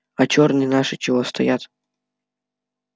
а чёрные наши чего стоят